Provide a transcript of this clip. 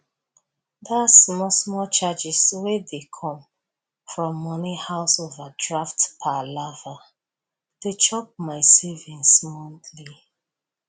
that smallsmall charges wey dey come from money house overdraft palava dey chop my savings monthly